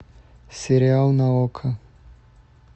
сериал на окко